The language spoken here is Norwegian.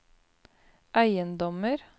eiendommer